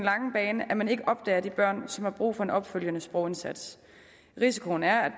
lange bane at man ikke opdager de børn som har brug for en opfølgende sprogindsats risikoen er at